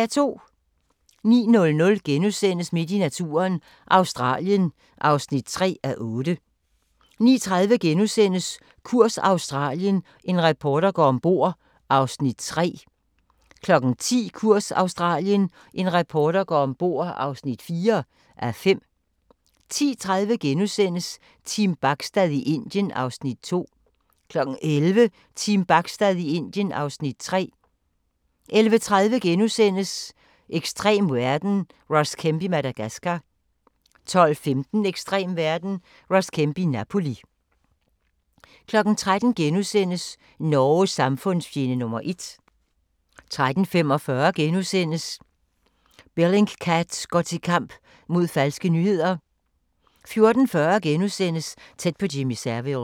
09:00: Midt i naturen – Australien (3:8)* 09:30: Kurs Australien – en reporter går ombord (3:5)* 10:00: Kurs Australien – en reporter går ombord (4:5) 10:30: Team Bachstad i Indien (Afs. 2)* 11:00: Team Bachstad i Indien (Afs. 3) 11:30: Ekstrem verden – Ross Kemp i Madagascar * 12:15: Ekstrem verden – Ross Kemp i Napoli 13:00: Norges samfundsfjende nr. 1 * 13:45: Bellingcat går til kamp mod falske nyheder * 14:40: Tæt på Jimmy Savile *